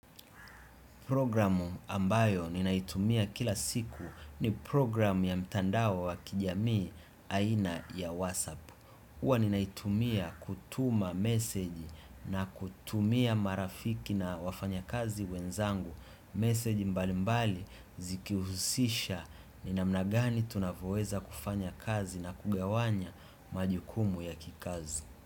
Programu ambayo ninaitumia kila siku ni programu ya mtandao wa kijamii aina ya WhatsApp. Huwa ninaitumia kutuma meseji na kutumia marafiki na wafanya kazi wenzangu. Meseji mbali mbali zikihusisha ninamnagani tunavyoweza kufanya kazi na kugawanya majukumu ya kikazi.